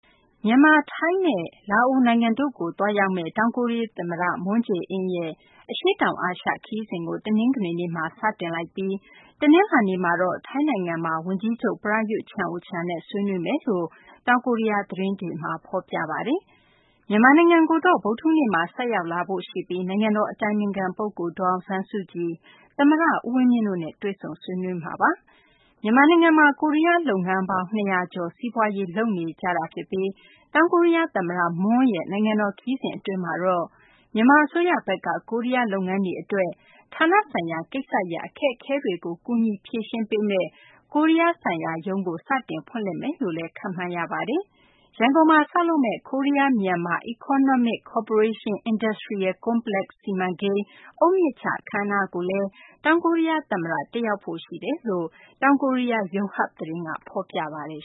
မြန်မာ၊ ထိုင်းနဲ့ လာအိုနိုင်ငံတို့ကို သွားရောက်မယ့် တောင်ကိုရီးယားသမ္မတ Moon Jae-in ရဲ့ အရှေ့တောင်အာရှ ခရီးစဉ်ကို တနင်္ဂနွေနေ့မှာ စတင်ခဲ့ပြီး တနလာၤနေ့မှာတော့ ထိုင်းနိုင်ငံမှာ ဝန်ကြီးချုပ် Prayuth Chan-ocha နဲ့ ဆွေးနွေးမယ်လို့ တောင်ကိုရီးယား သတင်းတွေမှာ ဖော်ပြပါတယ်။ မြန်မာနိုင်ငံကိုတော့ ဗုဒ္ဓဟူးနေ့မှာ ဆိုက်ရောက်လာဖို့ရှိပြီး နိုင်ငံတော်အတိုင်ပင်ခံပုဂ္ဂိုလ် ဒေါ်အောင်ဆန်းစုကြည်၊ သမ္မတ ဦးဝင်းမြင့်တို့နဲ့ တွေ့ဆုံ ဆွေးနွေးမှာပါ။ မြန်မာနိုင်ငံမှာ ကိုရီးယားလုပ်ငန်းပေါင်း ၂၀၀ ကျော် စီးပွားရေး လုပ်ကိုင်နေကြတာပါ။ တောင်ကိုရီးယားသမ္မတ Moon ရဲ့ နိုင်ငံတော်ခရီးစဉ်အတွင်း မြန်မာအစိုးရဘက်က ကိုရီးယားလုပ်ငန်းတွေအတွက် ဌာနဆိုင်ရာကိစ္စရပ် အခက်အခဲတွေကို ကူညီ ဖြေရှင်းပေးမယ့် ကိုရီးယားဆိုင်ရာရုံးကို စတင်ဖွင့်လှစ်မယ်လို့လည်း ခန့်မှန်းရပါတယ်။ ရန်ကုန်မှာ ဆောက်လုပ်မယ့် Korea-Myanmar Economic Cooperation Industrial Complex စီမံကိန်း အုတ်မြစ်ချ အခမ်းအနားကိုလည်း တောင်ကိုရီးယားသမ္မတ Moon တက်ရောက်ဖို့ရှိကြောင်း တောင်ကိုရီးယား ယုံဟပ် သတင်းက ဖော်ပြထားပါတယ်